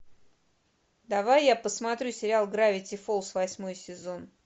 давай я посмотрю сериал гравити фолз восьмой сезон